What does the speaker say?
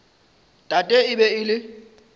tate e be e le